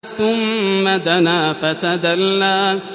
ثُمَّ دَنَا فَتَدَلَّىٰ